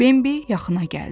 Bembi yaxına gəldi.